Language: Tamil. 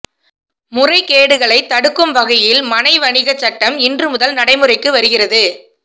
முறைகேடுகளை தடுக்கும் வகையில் மனை வணிக சட்டம் இன்று முதல் நடைமுறைக்கு வருகிறது